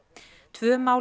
tvö mál